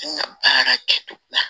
N ka baara kɛtogo la